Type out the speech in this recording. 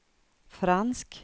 fransk